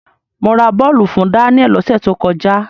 Mo ra bọ́ọ̀lù fún Daniel lọ́sẹ̀ tó kọjá.